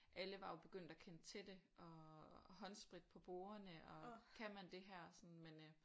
Alle var jo begyndt at kendte til det og håndsprit på bordene og kan man det her sådan men øh